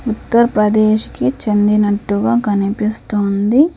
ఉత్తర్ ప్రదేశ్ కి చెందినట్టుగా కనిపిస్తోంది.